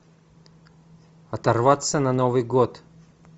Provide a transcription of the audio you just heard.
оторваться на новый год